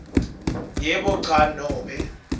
yebo cha nobe